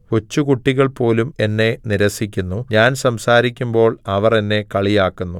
കൊച്ചുകുട്ടികൾപോലും എന്നെ നിരസിക്കുന്നു ഞാൻ സംസാരിക്കുമ്പോൾ അവർ എന്നെ കളിയാക്കുന്നു